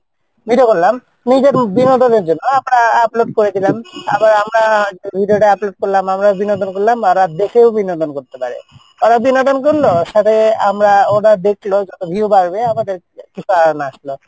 video করলাম নিজের বিনোদনের জন্য আর আমরা upload করে দিলাম আবার আমরা video টা upload করলাম আমরা বিনোদন করলাম ওরা দেখেও বিনোদন করতে পারে ওরা বিনোদন করলো সাথে আমরা ওরা দেখলো view বাড়বে আমাদের কিছু earn আসলো,